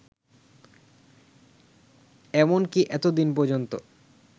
এমনকী এতদিন পর্যন্ত